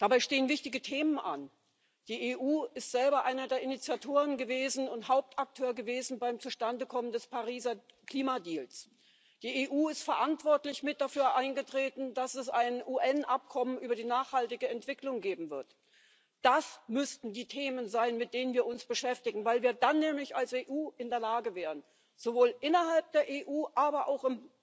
Dabei stehen wichtige Themen an Die EU ist selber einer der Initiatoren und Hauptakteur gewesen beim Zustandekommen des Pariser Klima-Deals. Die EU ist verantwortlich mit dafür eingetreten, dass es ein UN-Abkommen über nachhaltige Entwicklung geben wird. Das müssten die Themen sein, mit denen wir uns beschäftigen, weil wir dann nämlich als EU in der Lage wären, sowohl innerhalb der EU, aber auch